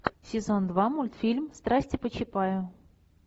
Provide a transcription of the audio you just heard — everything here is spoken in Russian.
сезон два мультфильм страсти по чапаю